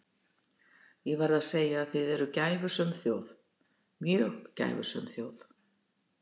Ég verð að segja að þið eruð gæfusöm þjóð, mjög gæfusöm þjóð.